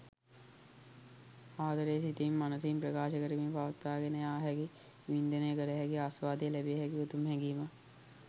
ආදරය සිතෙන් මනසින් ප්‍රකාශ කරමින් පවත්වාගෙන යාහැකි වින්දනය කළහැකි ආස්වාදය ලැබිය හැකි උතුම් හැඟීමක්.